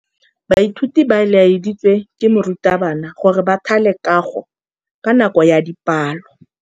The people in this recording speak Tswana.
Baithuti ba laeditswe ke morutabana gore ba thale kagô ka nako ya dipalô.